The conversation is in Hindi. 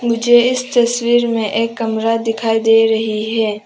मुझे इस तस्वीर में एक कमरा दिखाई दे रही है।